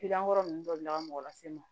ninnu dɔ bila ka mɔgɔ lase n ma